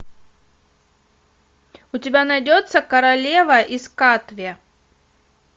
у тебя найдется королева из катве